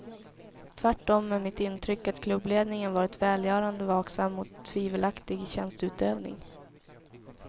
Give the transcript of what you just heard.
Tvärtom är mitt intryck att klubbledningen varit välgörande vaksam mot tvivelaktig tjänsteutövning.